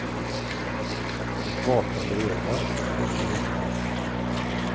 Ett vakande öga, tänkte hustrun.